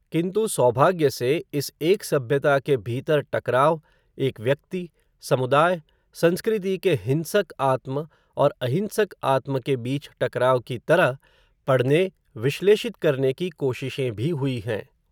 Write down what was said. किंतु, सौभाग्य से, इस एक सभ्यता के भीतर टकराव, एक व्यक्ति, समुदाय, संस्कृति के हिंसक आत्म, और अहिंसक आत्म के बीच टकराव की तरह, पढ़ने विश्लेषित करने की कोशिशें भी हुई हैं